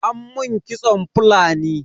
An mun kitson Fulani.